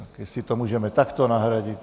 Tak jestli to můžeme takto nahradit...